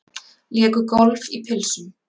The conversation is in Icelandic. Léku golf í pilsum